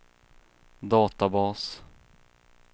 databas